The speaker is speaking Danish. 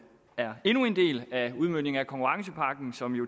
er endnu en del af udmøntningen af konkurrencepakken som